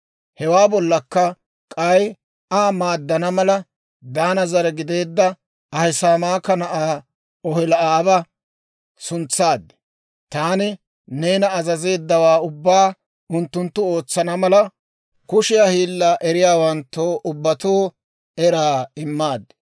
«Hewaa bollakka k'ay Aa maaddana mala, Daana zare gideedda Ahisamaaka na'aa Oholi'aaba suntsaad. Taani neena azazeeddawaa ubbaa unttunttu ootsana mala, kushiyaa hiillaa eriyaawanttoo ubbatoo eraa immaad.